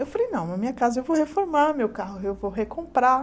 Eu falei, não, na minha casa eu vou reformar meu carro, eu vou recomprar.